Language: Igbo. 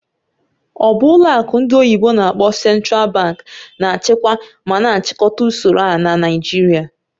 Ọ bụ ọlụ akụ ndị oyibo n'akpọ "Central Bank" na-achịkwa ma na-achịkọta usoro a na Naijiria?